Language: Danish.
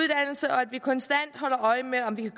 og at vi konstant holder øje med om vi kan